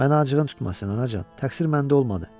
Mənə acığın tutmasın, anacan, təqsir məndə olmadı.